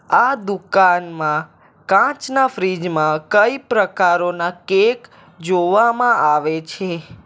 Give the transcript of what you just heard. આ દુકાનમાં કાચના ફ્રિજ માં કઈ પ્રકારોના કેક જોવામાં આવે છે.